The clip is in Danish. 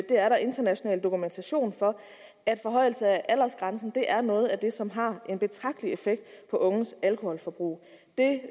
er der international dokumentation for at en forhøjelse af aldersgrænsen er noget af det som har en betragtelig effekt på unges alkoholforbrug det